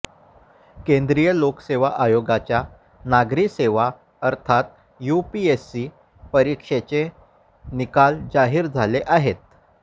केंद्रीय लोकसेवा आयोगाच्या नागरी सेवा अर्थात यूपीएससी परीक्षेचे निकाल जाहीर झाले आहेत